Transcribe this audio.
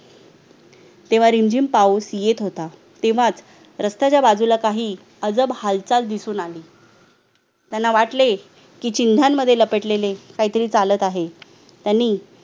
तेव्हा रिमझिम पाऊस येत होता तेव्हाच रस्ताच्या बाजूला काही अजब हालचाल दिसून आली त्यांना वाटले की चिन्हांमध्ये लपटलेले काहीतरी चालत आहे त्यांनी